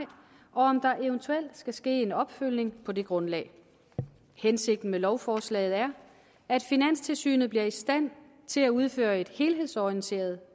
og om der eventuelt skal ske en opfølgning på det grundlag hensigten med lovforslaget er at finanstilsynet bliver i stand til at udføre et helhedsorienteret